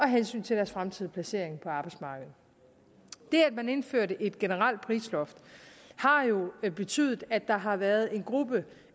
hensyn til deres fremtidige placering på arbejdsmarkedet det at man indførte et generelt prisloft har jo betydet at der har været en gruppe